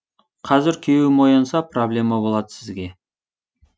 қазір күйеуім оянса проблема болады сізге